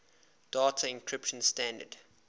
data encryption standard